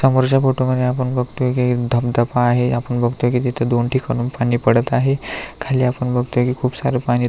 समोरच्या फोटोमध्ये आपण बगतोय की एक धबधबा आहे आपण बगतोय की तिथे दोन ठिकाणाहून पाणी पडत आहे खाली आपण बगतोय की खूप सार पाणी तुंबलेलां --